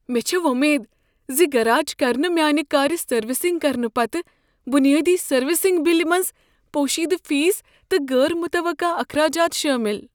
مےٚ چھےٚ وۄمید ز گراج کر نہٕ میٛانہ كارِ سروس کرنہٕ پتہٕ بنیٲدی سروسنگ بلہِ منٛز پوشیدہ فیس تہٕ غٲر متوقع اخراجات شٲمل۔